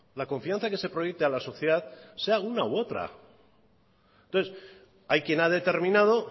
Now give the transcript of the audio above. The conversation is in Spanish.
la confianza que se proyecte a la sociedad sea una u otra entonces hay quien ha determinado